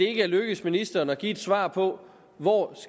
ikke er lykkedes ministeren at give et svar på hvor